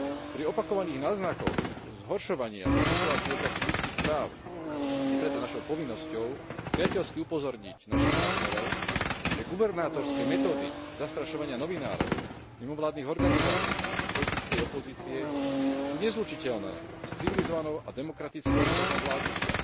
Pri opakovaných náznakoch zhoršovania sa situácie v oblasti ľudských práv je preto našou povinnosťou priateľsky upozorniť našich partnerov, že gubernátorské metódy zastrašovania novinárov, mimovládnych organizácií či politickej opozície sú nezlučiteľné s civilizovanou a demokratickou formou vládnutia.